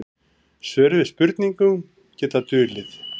Svör við spurningum geta dulið.